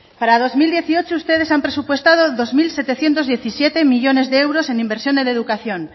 para dos mil dieciocho ustedes han presupuestado dos mil setecientos diecisiete millónes de euros en inversión en educación